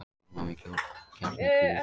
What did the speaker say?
Búrma með kjarnakljúf